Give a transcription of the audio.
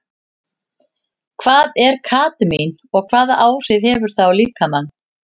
Hvað er kadmín og hvaða áhrif hefur það á líkamann?